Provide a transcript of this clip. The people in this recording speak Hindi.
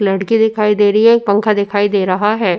लड़के दिखाई दे री है एक पंखा दिखाई दे रहा हैं।